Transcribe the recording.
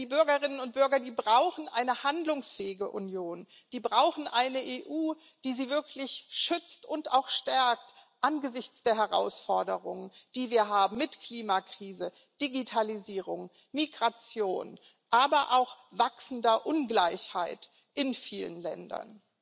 Denn die Bürgerinnen und Bürger brauchen eine handlungsfähige Union, brauchen eine EU, die sie wirklich schützt und auch stärkt angesichts der Herausforderungen, die wir haben mit Klimakrise, Digitalisierung und Migration, aber auch wachsender Ungleichheit in vielen Ländern.